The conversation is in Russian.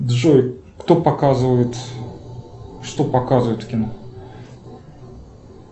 джой кто показывает что показывают в кино